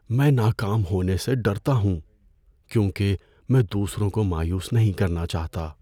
میں ناکام ہونے سے ڈرتا ہوں کیونکہ میں دوسروں کو مایوس نہیں کرنا چاہتا۔